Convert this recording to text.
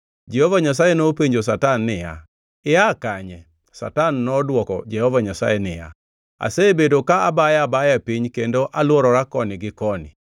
Jehova Nyasaye nopenjo Satan niya, “Ia kanye?” Satan nodwoko Jehova Nyasaye niya, “Asebedo ka abayo abaya e piny, kendo alworora koni gi koni.”